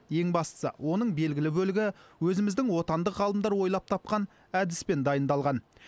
ең бастысы оның белгілі бөлігі өзіміздің отандық ғалымдар ойлап тапқан әдіспен дайындалған